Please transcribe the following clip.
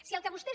si el que vostès